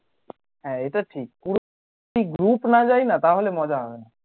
হ্যাঁ এটা ঠিক পুরো group না যাইনা তাহলে মজা হবে না